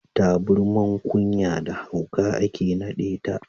Taburman ƙunya da hauka ake naɗeta.